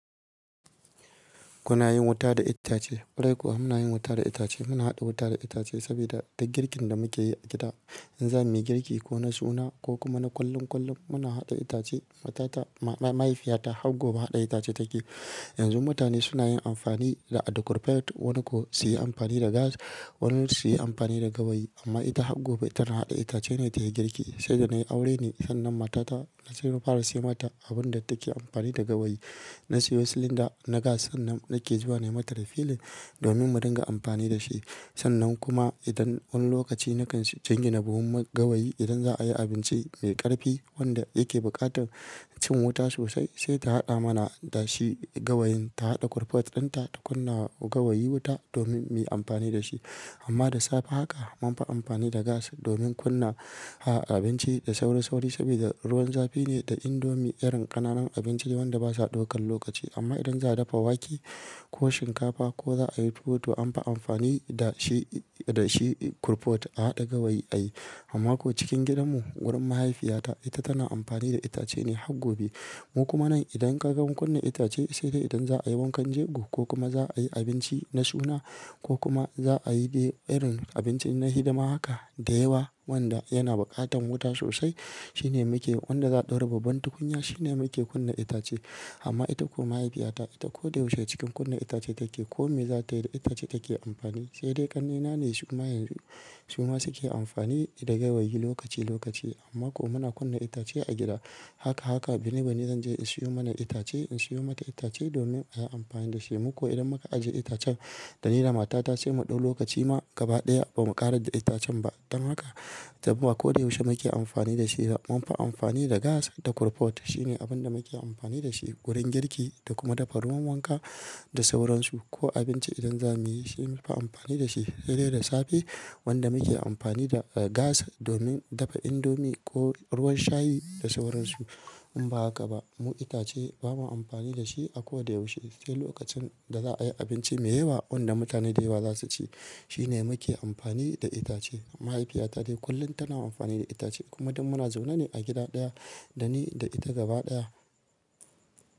Kuna yin wuta da itace? Kwarai kuwa muna yin wuta da itace. Muna haɗa wuta da itace saboda da girkin da muke yi a gida. In za mu yi girki ko na suna ko kuma na kullun kullun muna haɗa itace. Matata, mahaifiyata har gobe haɗa itace take. Yanzu mutane suna yin amfani da korfet wani ko zai yi amfani da gas wani zai yi amfani da gawayi amma ita har gobe ita na haɗa itace ne ta girki. Sai da na yi aure ne sannan matata na sayo fara siyo mata abun da take amfani da gawayi. Na sayo silinda na gas sannan nake zuwa na yi mata refilin domin mu dinga amfani da shi. Sannan kuma idan wani lokaci na kan janye na buɗe gawayi idan za a yi abinci mai ƙarfi wanda yake buƙatar cin wuta sosai sai ta haɗa mana da shi gawayin. Ta haɗa korfet ɗinta ta kunna gawayi wuta domin mu yi amfani da shi. Amma da safe haka mun fi amfani da gas domin kunna a yi abinci da sauri sauri saboda ruwan zafi ne da indomi irin ƙananan abinci wanda basa ɗaukan lokaci. Amma idan za a dafa wake ko shinkafa ko za a yi tuwo to an fi amfani da shi, da shi korfet a haɗa gawayi a yi. Amma ko cikin gidanmu wurin mahaifiyata ita tana amfani da itace ne har gobe. Mu kuma nan idan kaga mun kunna itace sai dai idan za a yi wankan jego ko kuma za a yi abinci na suna ko kuma za a yi day irin abinci na hidima haka da yawa wanda yana buƙatan wuta sosai shine muke wanda za ta raba ban tukunya shine muke kunna itace. Amma ita ko mahaifiyata ita koda yaushe cikin kunna itace take. Ko me za ta yi da itace take amfani. Sai dai ƙannena ne su kuma yanzu su ma suke amfani da gawayi lokaci lokaci. Amma ko muna kunna itace a gida. Haka haka binne binne zan je in sayo mana itace in sayo mata itace domin a yi amfani da shi. Mu kuwa idan muka ajiye itacen da ni da matata ce mu ɗau lokaci ma gaba ɗaya ba mu ƙara da itacen ba. Dan haka saboda koda yaushe muke amfani da shi da mun fi amfani da gas da korfet shine abin da muke amfani da shi wurin girki da kuma dafa ruwan wanka da sauransu ko abinci idan za mu yi shi mun fi amfani da shi. Sai dai da safe wanda muke amfani da gas domin dafa indomi ko ruwan shayi da sauransu in ba haka ba mu itace ba mu amfani da shi a koda yaushe. Sai lokacin da za a yi abinci mai yawa wanda mutane da yawa za su ci shine muke amfani da itace. Mahaifiyata dai kullum tana amfani da itace kuma dun muna zaune ne a gida ɗaya da ni da ita gaba ɗaya.